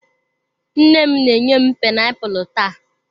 Nne m na-enye m painiapulu taa.